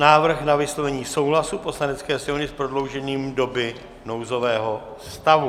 Návrh na vyslovení souhlasu Poslanecké sněmovny s prodloužením doby nouzového stavu